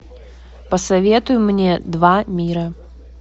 посоветуй мне два мира